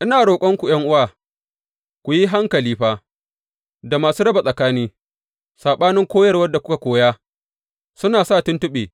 Ina roƙonku, ’yan’uwa, ku yi hankali fa da masu raba tsakani, saɓanin koyarwar da kuka koya, suna sa tuntuɓe.